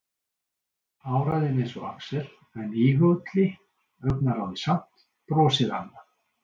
Áræðinn eins og Axel en íhugulli, augnaráðið samt, brosið annað.